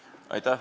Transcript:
Aitäh!